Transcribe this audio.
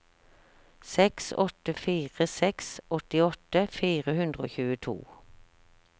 seks åtte fire seks åttiåtte fire hundre og tjueto